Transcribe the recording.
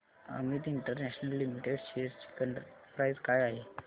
Amit international limited shares ची current price काय आहे